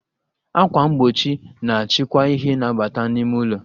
Akwà mgbochi na-achịkwa ìhè na-abata n'ime ụlọ